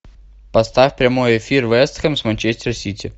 поставь прямой эфир вест хэм с манчестер сити